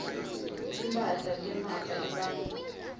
timphahla temafa ebantfu